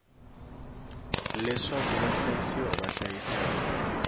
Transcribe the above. leswaku vahlayisiwa va hlayisa hi